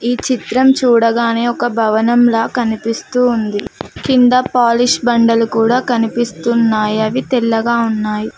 ఈ చిత్రం చూడగానే ఒక భవనంలా కనిపిస్తూ ఉంది కింద పాలిష్ బండలు కూడా కనిపిస్తున్నాయి అవి తెల్లగా ఉన్నాయ్.